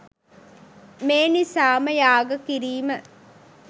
මේ නිසාම යාග කිරීම